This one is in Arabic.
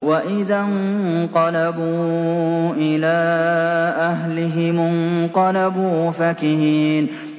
وَإِذَا انقَلَبُوا إِلَىٰ أَهْلِهِمُ انقَلَبُوا فَكِهِينَ